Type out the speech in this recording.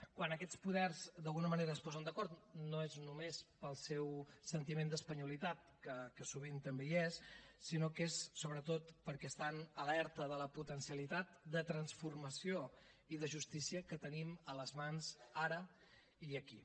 quan aquests poders d’alguna manera es posen d’acord no és només pel seu sentiment d’espanyolitat que sovint també hi és sinó que és sobretot perquè estan alerta de la potencialitat de transformació i de justícia que tenim a les mans ara i aquí